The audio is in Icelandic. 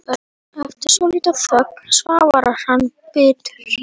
Eftir svolitla þögn svarar hann biturt